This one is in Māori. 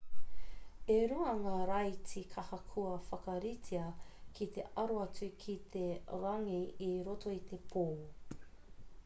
e rua ngā raiti kaha kua whakaritea ki te aro atu ki te rangi i roto i te pō